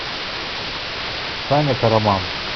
саня караман